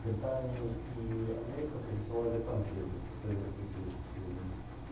британия и америка пересылали танки в советский союз к сведению